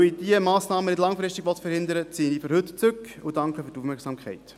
Eben: Weil ich diese Massnahmen langfristig nicht verhindern will, ziehe ich für heute zurück.